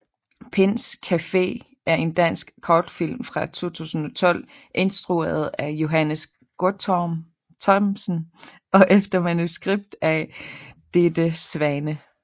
Pinds Café er en dansk kortfilm fra 2012 instrueret af Johannes Guttorm Thomsen og efter manuskript af Ditte Svane